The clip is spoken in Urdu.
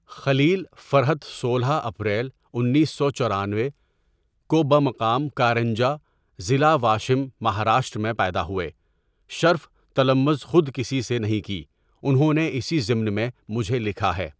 خلیل فرحتؔ سولہ ؍ اپریل انیس سو چورانوے؁ کو بمقام کارنجہ ضلع واشم مہاراشٹر میں پیدا ہوئے شرف تلمذ خود کسی سے نہیں کی انہوں نے اسی ضمن میں مجھے لکھا ہے.